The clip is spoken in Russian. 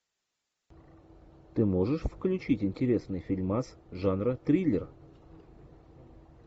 ты можешь включить интересный фильмас жанра триллер